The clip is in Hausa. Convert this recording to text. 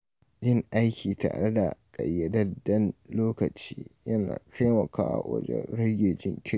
Yin aiki tare da ƙayyadadden lokaci yana taimakawa wajen rage jinkiri.